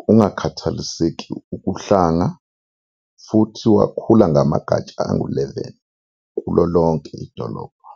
kungakhathaliseki uhlanga, futhi wakhula ngamagatsha angu-11 kulo lonke idolobha.